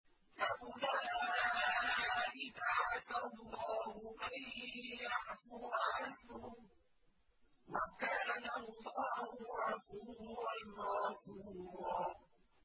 فَأُولَٰئِكَ عَسَى اللَّهُ أَن يَعْفُوَ عَنْهُمْ ۚ وَكَانَ اللَّهُ عَفُوًّا غَفُورًا